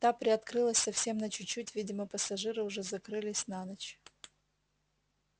та приоткрылась совсем на чуть-чуть видимо пассажиры уже закрылись на ночь